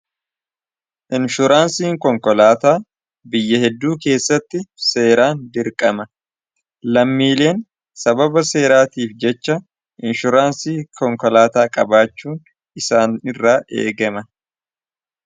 inshuraansii konkolaataa biyya hedduu keessatti seeraan dirqama lammiileen sababa seeraatiif jecha inshuraansii konkolaataa qabaachuun isaan irra eegama